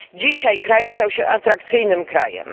Dzisiaj nasz kraj stał się atrakcyjnym krajem.